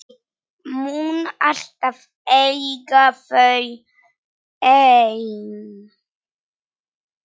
Mun alltaf eiga þau ein.